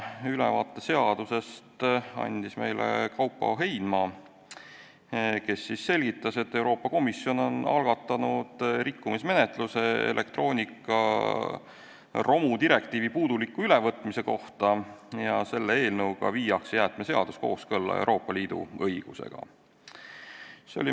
Ülevaate seadusest andis Kaupo Heinma, kes selgitas, et Euroopa Komisjon on algatanud rikkumismenetluse elektroonikaromu direktiivi puuduliku ülevõtmise kohta ja selle eelnõuga viiakse jäätmeseadus kooskõlla Euroopa Liidu õigusega.